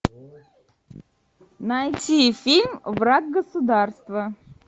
найти фильм враг государства